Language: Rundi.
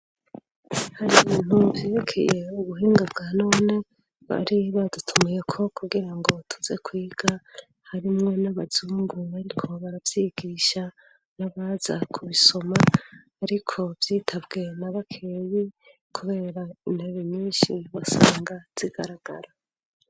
hari ibintu vyerekeye ubuhinga bwa none bari badutumiyeko kugira ngo tuze kwiga harimwo nabazungu ariko baravyigisha nabaza kubisoma ariko vyitabwe na bakeyi kubera intebe nyinshi wasanga zigaragara